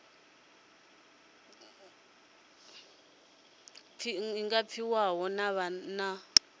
nga pfi ho vha na